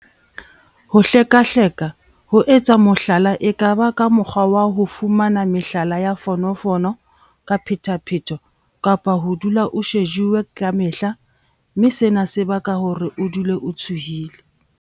Ho hlekahleka- ho etsa mohlala e ka ba ka mokgwa wa ho fumana mehala ya fono fono ka phethaphetho kapa ho dula o shejuwe ka mehla mme sena se baka hore o dule o tshohile.